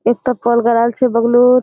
एकटा पोल गाराल छे बगलुत --